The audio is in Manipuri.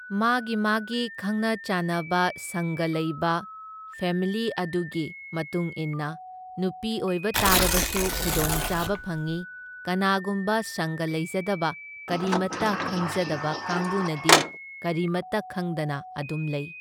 ꯃꯥꯒꯤ ꯃꯥꯒꯤ ꯈꯪꯅ ꯆꯥꯟꯅꯕ ꯁꯪꯒ ꯂꯩꯕ ꯐꯦꯃꯤꯂꯤ ꯑꯗꯨꯒꯤ ꯃꯇꯨꯡ ꯏꯟꯅ ꯅꯨꯄꯤ ꯑꯣꯏꯕ ꯇꯥꯔꯕꯁꯨ ꯈꯨꯗꯣꯡꯆꯥꯕ ꯐꯪꯏ, ꯀꯅꯥꯒꯨꯝꯕ ꯁꯪꯒ ꯂꯩꯖꯗꯕ ꯀꯔꯤꯃꯇ ꯈꯪꯖꯗꯕ ꯀꯥꯡꯕꯨꯅꯗꯤ ꯀꯔꯤꯃꯇ ꯈꯪꯗꯅ ꯑꯗꯨꯝ ꯂꯩ꯫